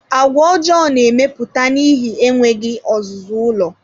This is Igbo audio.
Àgwà ọjọọ na-emepụta n'ihi enweghị ọzụzụ ụlọ